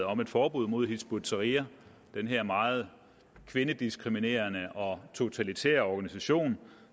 om et forbud mod hizb ut tahrir den her meget kvindediskriminerende og totalitære organisation